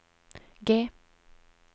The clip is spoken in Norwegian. G